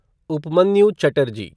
Upmanyu Chatterjee